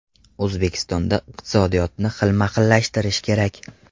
O‘zbekistonda iqtisodiyotni xilma-xillashtirish kerak.